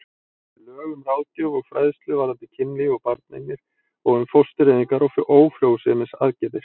Lög um ráðgjöf og fræðslu varðandi kynlíf og barneignir og um fóstureyðingar og ófrjósemisaðgerðir.